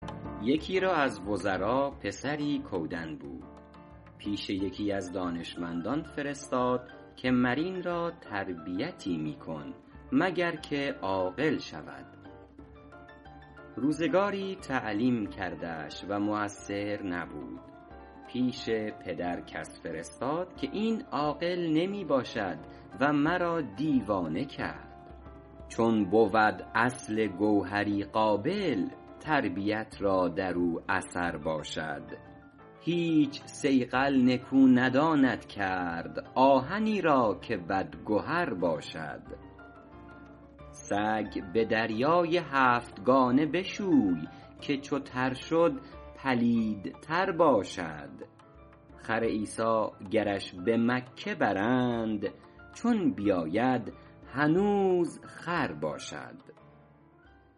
یکی را از وزرا پسری کودن بود پیش یکی از دانشمندان فرستاد که مر این را تربیتی می کن مگر که عاقل شود روزگاری تعلیم کردش و مؤثر نبود پیش پدرش کس فرستاد که این عاقل نمی باشد و مرا دیوانه کرد چون بود اصل گوهری قابل تربیت را در او اثر باشد هیچ صیقل نکو نداند کرد آهنی را که بدگهر باشد سگ به دریای هفتگانه بشوی که چو تر شد پلیدتر باشد خر عیسی گرش به مکه برند چون بیاید هنوز خر باشد